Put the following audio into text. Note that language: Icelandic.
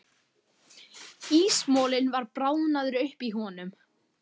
Ísmolinn var bráðnaður upp í honum.